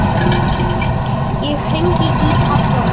Ég hringi í pabba.